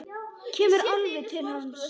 Kemur alveg til hans.